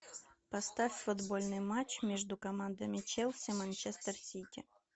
поставь футбольный матч между командами челси манчестер сити